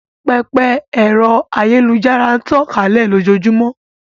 Pẹpẹ ẹ̀rọ ayélujára n tàn kálẹ̀ lójóojúmọ́